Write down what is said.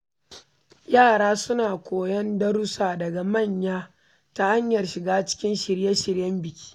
Yara suna koyon darussa daga manya ta hanyar shiga cikin shirye-shiryen biki.